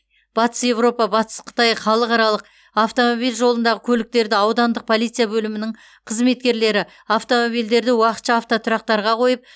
батыс еуропа батыс қытай халықаралық автомобиль жолындағы көліктерді аудандық полиция бөлімінің қызметкерлері автомобильдерді уақытша автотұрақтарға қойып